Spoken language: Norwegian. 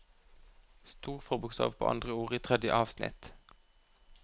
Stor forbokstav på andre ord i tredje avsnitt